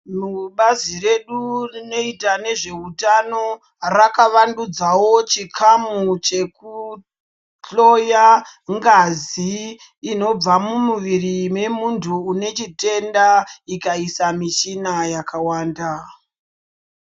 Bazi redu rinoita nezveutano rakavandudzawo chikamu chekuhloya ngazi inobva mumuviri memuntu une chitenda ikaisa mishina yakawanda.